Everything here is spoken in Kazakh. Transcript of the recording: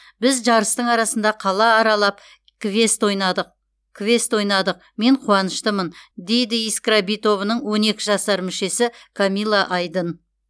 біз жарыстың арасында қала аралап квест ойнадық мен қуаныштымын дейді искра би тобының он екі жасар мүшесі камилла айдын